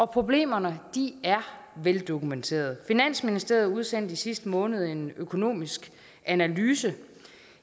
problemerne er veldokumenteret finansministeriet udsendte i sidste måned en økonomisk analyse